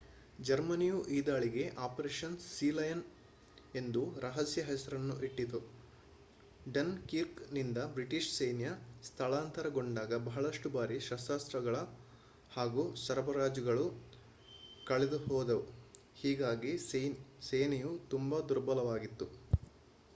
ಜರ್ಮನಿಯು ಈ ದಾಳಿಗೆ ಅಪರೇಷನ್ ಸೀಲಯನ್ ಎಂದು ರಹಸ್ಯ ಹೆಸರನ್ನು ಇಟ್ಟಿತು ಡನ್ ಕಿರ್ಕ್ ನಿಂದ ಬ್ರಿಟಿಷ್ ಸೈನ್ಯ ಸ್ಥಳಾಂತರಗೊಂಡಾಗ ಬಹಳಷ್ಟು ಭಾರಿ ಶಸ್ತ್ರಾಸ್ತ್ರಗಳು ಹಾಗೂ ಸರಬರಾಜುಗಳು ಕಳೆದುಹೋದವು ಹೀಗಾಗಿ ಸೇನೆಯು ತುಂಬಾ ದುರ್ಬಲವಾಗಿತ್ತು